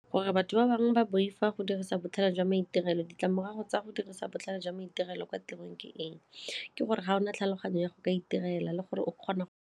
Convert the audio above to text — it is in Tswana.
Gore batho ba bangwe ba boifa go dirisa botlhale jwa maitirelo ditlamorago tsa go dirisa botlhale jwa maitirelo kwa tirong ke eng? Ke gore ga o na tlhaloganyo ya go itirela le gore o kgona.